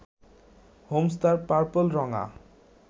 Holmes তার পার্পল-রঙা